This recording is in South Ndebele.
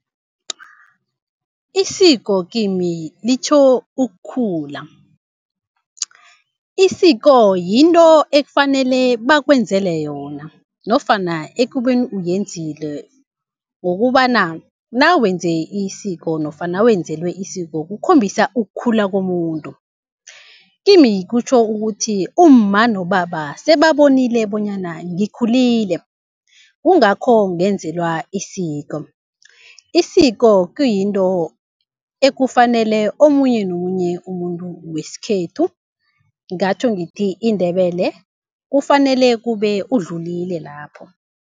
Isiko kimi litjho ukukhula. Isiko yinto ekufanele bakwenzele yona nofana ekubeni uyenzile, ngokobana nawenze isiko nofana nawenzelwe isiko kukhombisa ukukhula komuntu. Kimi kutjho ukuthi umma nobaba sebabonile bonyana ngikhulile kungakho ngenzelwa isiko. Isiko kuyinto ekufanele omunye nomunye umuntu wesikhethu ngingatjho ngithi iNdebele kufanele kube udlulile lapho.